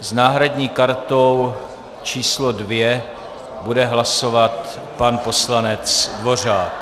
S náhradní kartou číslo 2 bude hlasovat pan poslanec Dvořák.